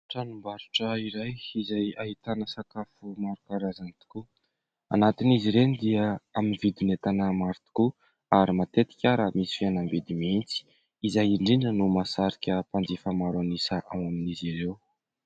Tranom-barotra iray izay ahitana sakafo maro karazany tokoa. Anatin'izy ireny dia amin'ny vidin' entana maro tokoa ary matetika ary misy fihenam-bidy mihintsy. Izay indrindra no masarika mpanjifa maro ao amin'izy ireo.